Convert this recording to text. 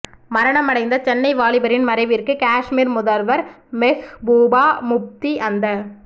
மரணம் அடைந்த சென்னை வாலிபரின் மறைவிற்கு காஷ்மீர் முதல்வர் மெஹ்பூபா முஃப்தி அந்த